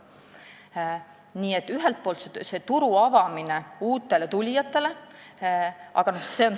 Nii et ühelt poolt oli küsimus turu avamises uutele tulijatele.